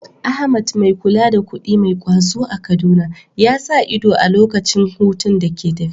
Ahmad, mai kula da kuɗi mai ƙwazo a Kaduna, ya sa ido a lokacin hutun da ke tafe.